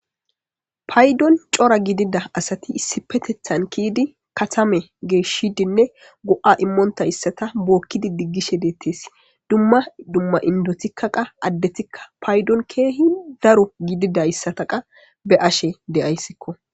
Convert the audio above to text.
paydon cora gidida asati issipetethan kiidi katame geeshshidinne go'a immoonta issata bookkidi diggishe deettes. dumma dumma indotikkaqa addetikka paydon keehi daro gidida issataqa be ashe deyayssikko.